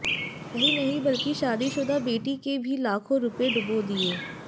यही नहीं बल्कि शादीशुदा बेटी के भी लाखों रुपए डूबो दिए